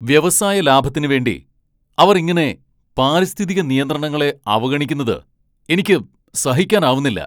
വ്യവസായ ലാഭത്തിനുവേണ്ടി അവർ ഇങ്ങനെ പാരിസ്ഥിതിക നിയന്ത്രണങ്ങളെ അവഗണിക്കുന്നത് എനിക്ക് സഹിക്കാനാവുന്നില്ല.